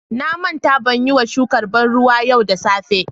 Na manta ban Yi ma shukan banruwa yau da safe.